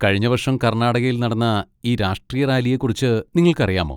കഴിഞ്ഞ വർഷം കർണാടകയിൽ നടന്ന ഈ രാഷ്ട്രീയ റാലിയെക്കുറിച്ച് നിങ്ങൾക്കറിയാമോ?